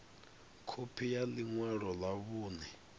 khophi ya ḽi ṅwalo ḽa vhuṋe